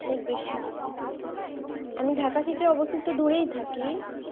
অনেক বেশি, আমি ঢাকা থেকে অবশ্য একটু দূরেই থাকি।